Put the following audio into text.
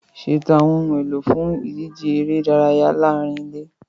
Ṣètò àwọn ohun èlò fún ìdíje eré ìdárayá láàárín ilé.